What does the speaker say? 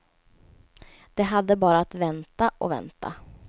De hade bara att vänta och vänta.